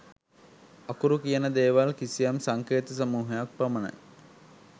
අකුරු කියන දේවල් කිසියම් සංකේත සමූහයක් පමණයි